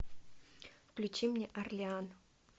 включи мне орлеан